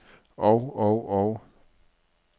og og og